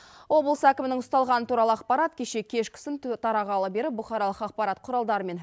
облыс әкімінің ұсталғаны туралы ақпарат кеше кешкісін тарағалы бері бұқаралық ақпарат құралдары мен